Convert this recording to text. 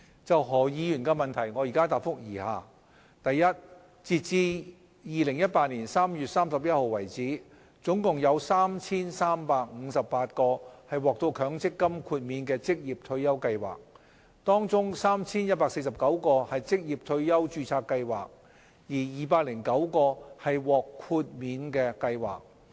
就何議員的質詢，我現答覆如下：一截至2018年3月31日，總共有 3,358 個獲強積金豁免的職業退休計劃，當中 3,149 個是職業退休註冊計劃，而209個是獲豁免的計劃。